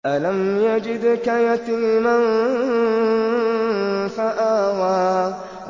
أَلَمْ يَجِدْكَ يَتِيمًا فَآوَىٰ